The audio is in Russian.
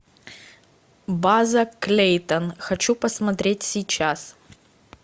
база клейтон хочу посмотреть сейчас